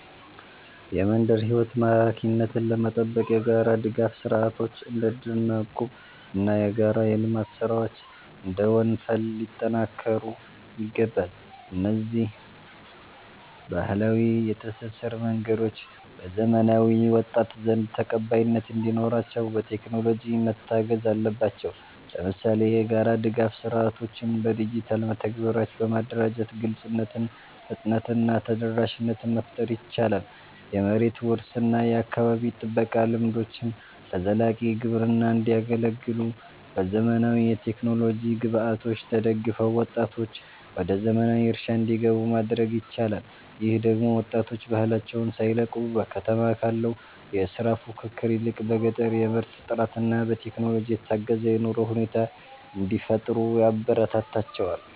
የመንደር ሕይወት ማራኪነትን ለመጠበቅ የጋራ ድጋፍ ሥርዓቶች (እንደ እድርና እቁብ) እና የጋራ የልማት ሥራዎች (እንደ ወንፈል) ሊጠናከሩ ይገባል። እነዚህ ባህላዊ የትስስር መንገዶች በዘመናዊው ወጣት ዘንድ ተቀባይነት እንዲኖራቸው፣ በቴክኖሎጂ መታገዝ አለባቸው። ለምሳሌ፣ የጋራ ድጋፍ ሥርዓቶችን በዲጂታል መተግበሪያዎች በማደራጀት ግልጽነትን፣ ፍጥነትን እና ተደራሽነትን መፍጠር ይቻላል። የመሬት ውርስ እና የአካባቢ ጥበቃ ልምዶችም ለዘላቂ ግብርና እንዲያገለግሉ፣ በዘመናዊ የቴክኖሎጂ ግብዓቶች ተደግፈው ወጣቶች ወደ ዘመናዊ እርሻ እንዲገቡ ማድረግ ይቻላል። ይህ ደግሞ ወጣቶች ባህላቸውን ሳይለቁ፣ በከተማ ካለው የሥራ ፉክክር ይልቅ በገጠር የምርት ጥራትና በቴክኖሎጂ የታገዘ የኑሮ ሁኔታ እንዲፈጥሩ ያበረታታቸዋል